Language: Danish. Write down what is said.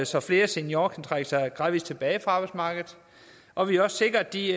så flere seniorer kan trække sig gradvis tilbage fra arbejdsmarkedet og vi også sikrer at de